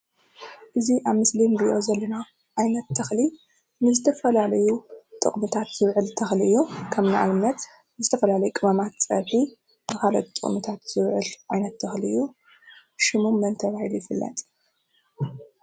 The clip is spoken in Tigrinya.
እዚ ኣብ ምስሊ ንሪኦ ዘለና ዓይነት ተኽሊ ንዝተፈላለዩ ጥቕምታት ዝውዕል ተኽሊ እዩ፡፡ ከም ንኣብነት ንዝተፈላለዩ ቅመማት ፀብሒ ንኻልኦት ጥቕምታት ዝውዕል ዓይነት ተኽሊ እዩ፡፡ ሽሙ መን ተባሂሉ ይፍለጥ?